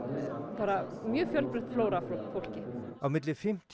bara mjög fjölbreytt flóra af fólki á milli fimmtíu